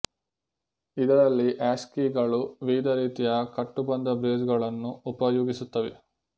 ಇದರಲ್ಲಿ ಹ್ಯಾಷ್ ಕೀಗಳು ವಿವಿಧ ರೀತಿಯ ಕಟ್ಟು ಬಂಧ ಬ್ರೇಸ್ ಗಳನ್ನು ಉಪಯೋಗಿಸುತ್ತವೆ